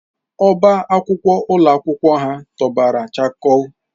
Ọbá akwụkwọ ụlọ akwụkwọ ha tọgbọrọ chakoo